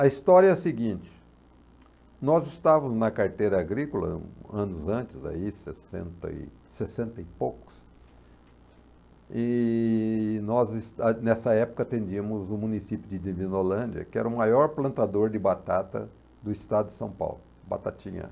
A história é a seguinte, nós estávamos na carteira agrícola anos antes, aí, sessenta e sessenta e poucos, e nós e nessa época atendíamos o município de Divinolândia, que era o maior plantador de batata do estado de São Paulo, Batatinha.